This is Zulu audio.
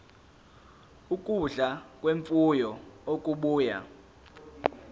ukudla kwemfuyo okubuya